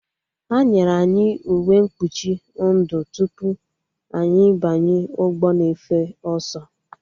Ha nyere anyị uwe mkpuchi ndụ tupu anyị banye ụgbọ na-efe ọsọ